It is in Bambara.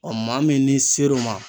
maa min n'i ser'o ma